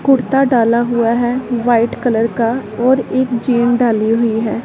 कुर्ता डाला हुआ है वाइट कलर का और एक जींस डाली हुई है।